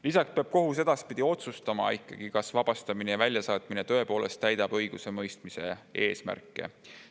Lisaks peab kohus edaspidi otsustama, kas vabastamine ja väljasaatmine tõepoolest täidab õigusemõistmise eesmärke.